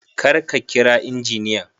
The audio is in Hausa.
kar ka kira injiniyan